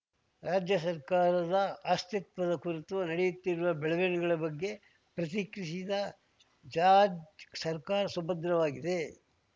ರಾಜ್ಯ ಸರ್ಕಾರದ ಅಸ್ಥಿತ್ವದ ಕುರಿತು ನಡೆಯುತ್ತಿರುವ ಬೆಳವಣಿಗೆ ಬಗ್ಗೆ ಪ್ರತಿಕ್ರಿಯಿಸಿದ ಜಾರ್ಜ್ ಸರ್ಕಾರ ಸುಭದ್ರವಾಗಿದೆ